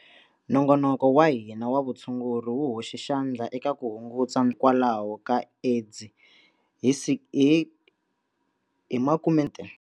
Nongonoko wa hina wa vutshunguri wu hoxe xandla eka ku hunguta hikwalaho ka AIDS hi 60.